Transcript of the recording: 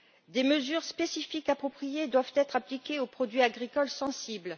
Des mesures spécifiques appropriées doivent être appliquées aux produits agricoles sensibles.